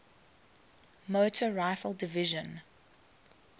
motor rifle division